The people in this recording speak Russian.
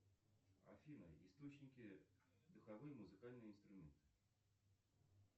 афина источники духовые музыкальные инструменты